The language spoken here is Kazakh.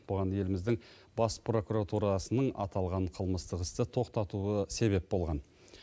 бұған еліміздің бас прокуратурасының аталған қылмыстық істі тоқтатуы себеп болған